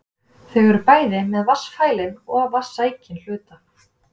Þau eru bæði með vatnsfælinn og vatnssækinn hluta.